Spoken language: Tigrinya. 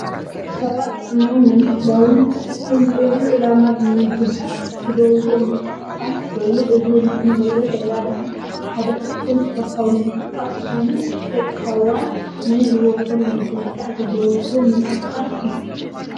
ሰባት ጥዕነኦም ንምሕላውን ዝተፈላለዩ ዕላማ ብምምጋብ ዝገብርዎ ምንቅስቃስ ኮይኑ እዚ ኣብ ምስሊ እንሪኦ ዘለና ድማ ሓደ ካብቶም እስፖርታዊ ምንቅስቃስ ዝኮኑን ደቂ ሰባት ንሂወቶም ንምዝንጋዕ ዝገብርዎ ምንቅስቃስ እዩ፡፡